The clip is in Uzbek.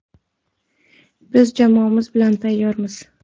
Biz jamoamiz bilan tayyormiz!